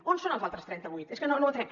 on són els altres trenta vuit és que no ho entenem